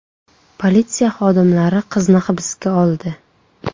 Politsiya xodimlari qizni hibsga oldi.